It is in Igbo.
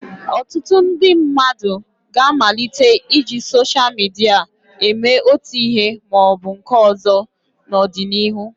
Ọtụtụ ndị mmadụ ga-amalite iji soshal midia eme otu ihe ma ọ bụ nke ọzọ n'ọdịnihu.